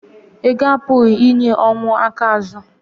ego apụghị inye ọnwụ aka azu